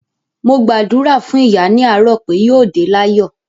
Mo gbàdúrà fún ìyá ní àárò pé yóò dé láyọ̀